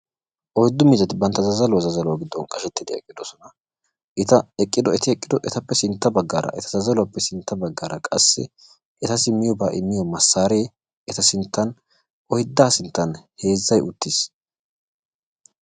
Oyddu miizzati bantta zazzaluwaa zazzaluwaa giddon qashshettidi eqqidosona. eta eti eqqido baggaappe sintta baggaara eta zazzaluwaappe sintta baggaara qassi eti miyoobaa immiyaa massaree eta sinttan oyddaa sinttan heezzay uttiis.